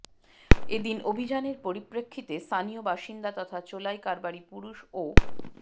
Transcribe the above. এদিন অভিযানের পরিপ্রেক্ষিতে স্থানীয় বাসিন্দা তথা চোলাই কারবারি পুরুষ ও